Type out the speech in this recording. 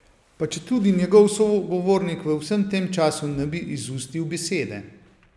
Pa četudi njegov sogovornik v vsem tem času ne bi izustil besede.